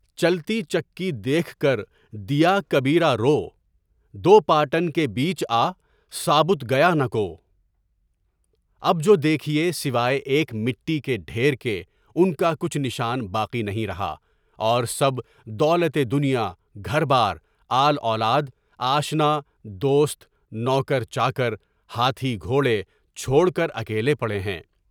چلتی چکی دیکھ کر، دییا کبیرہ رو دو پاٹان کے بیچ آ، ثابت گیانہ کو اب جو دیکھے سوائے ایک مٹی کے ڈھیر کے ان کا کچھ نشان باقی نہیں رہا، اور سب دولت، دنیا، گھر، بار، آل، اولاد، آشنا، دوست، نوکر، چاکر، ہاتھی، گھوڑے چھوڑ کر اکیلے پڑے ہیں۔